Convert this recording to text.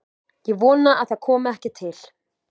Ég vona að það komi ekki til.